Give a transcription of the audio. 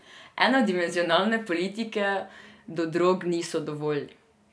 Enodimenzionalne politike do drog niso dovolj.